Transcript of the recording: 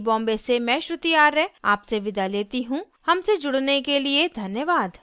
iit iit T Bombay से मैं श्रुति आर्य आपसे विदा लेती हूँ हमसे जुड़ने के लिए धन्यवाद